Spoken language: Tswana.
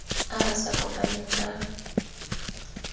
a a sa kopaneng ka